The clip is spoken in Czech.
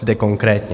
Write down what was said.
Zde konkrétně